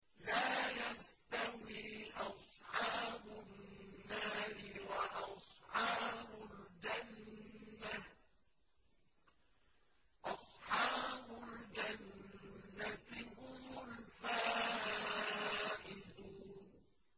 لَا يَسْتَوِي أَصْحَابُ النَّارِ وَأَصْحَابُ الْجَنَّةِ ۚ أَصْحَابُ الْجَنَّةِ هُمُ الْفَائِزُونَ